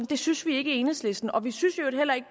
det synes vi ikke i enhedslisten og vi synes i øvrigt heller ikke